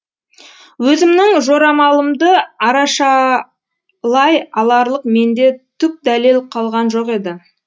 өзімнің жорамалымды арашалай аларлық менде түк дәлел қалған жоқ еді